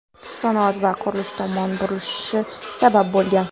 sanoat va qurilish tomon burilishi sabab bo‘lgan.